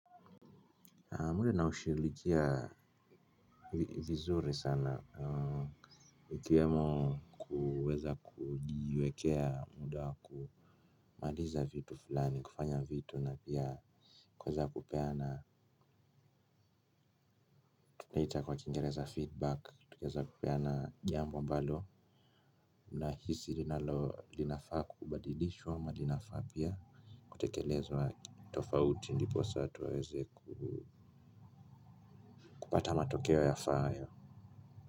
Mwili naushughulikia vizuri sana. Ukiwemo kuweza kujiwekea muda wa kumaliza vitu fulani kufanya vitu na pia kuweza kupea na tunaita kwa kingereza feedback tukieza kupeana jambo ambalo nahisi kinafaa kubadilishwa ama linafaa pia kutekelezwa tofauti ndipo saa twaweze kupata matokeo yafaayo.